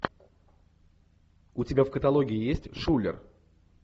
у тебя в каталоге есть шулер